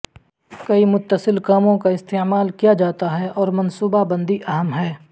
کئی متصل کاموں کا استعمال کیا جاتا ہے اور منصوبہ بندی اہم ہے